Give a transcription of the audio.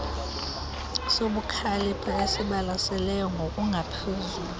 sobukhalipha esibalaseleyo ngokungaphezulu